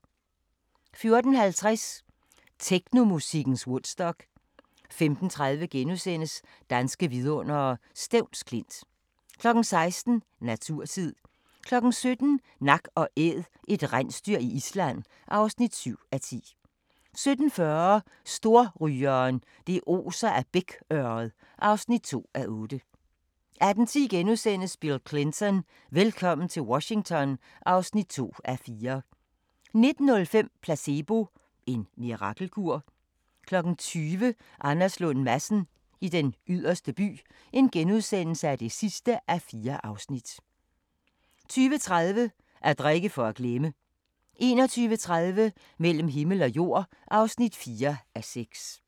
14:50: Technomusikkens Woodstock 15:30: Danske vidundere: Stevns Klint * 16:00: Naturtid 17:00: Nak & Æd – et rensdyr i Island (7:10) 17:40: Storrygeren – det oser af bækørred (2:8) 18:10: Bill Clinton: Velkommen til Washington (2:4)* 19:05: Placebo – en mirakelkur? 20:00: Anders Lund Madsen i Den Yderste By (4:4)* 20:30: At drikke for at glemme 21:30: Mellem himmel og jord (4:6)